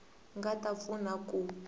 nga ta va pfuna ku